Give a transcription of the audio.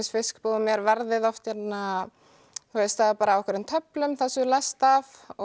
fiskbúðum er verðið bara á einhverri töflu þar sem þú lest af og